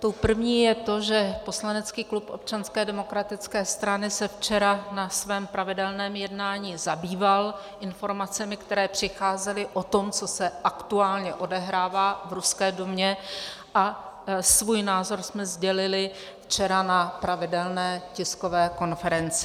Tou první je to, že poslanecký klub Občanské demokratické strany se včera na svém pravidelném jednání zabýval informacemi, které přicházely o tom, co se aktuálně odehrává v ruské Dumě, a svůj názor jsme sdělili včera na pravidelné tiskové konferenci.